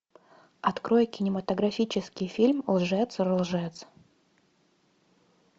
открой кинематографический фильм лжец лжец